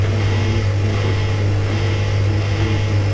उधर एक लेडिस लड़की भी खड़ी हुई है।